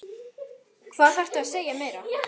Hvað þarftu að segja meira?